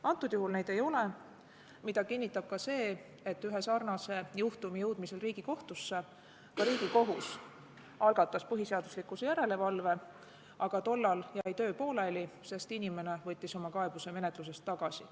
Antud juhul neid ei ole, mida kinnitab ka see, et ühe sarnase juhtumi jõudmisel Riigikohtusse algatas Riigikohus põhiseaduslikkuse järelevalve, aga tollal jäi töö pooleli, sest inimene võttis oma kaebuse menetlusest tagasi.